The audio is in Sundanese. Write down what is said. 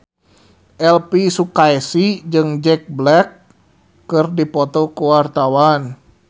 Elvy Sukaesih jeung Jack Black keur dipoto ku wartawan